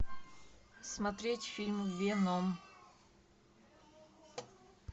смотреть фильм веном